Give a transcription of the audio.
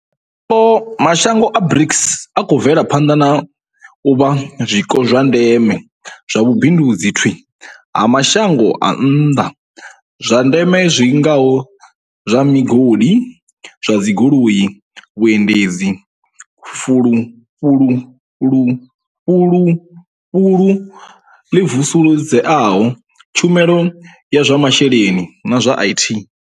Mashango a BRICS a khou bvela phanḓa na u vha zwiko zwa ndeme zwa vhu bindudzi thwii ha mashango a nnḓa kha zwa ndeme zwi ngaho zwa migodi, zwa dzi goloi, vhuendedzi, fulufulu ḽi vusuludzeaho, tshumelo ya zwa masheleni na zwa IT.